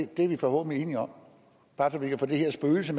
det er vi forhåbentlig enige om bare så vi kan få det her spøgelse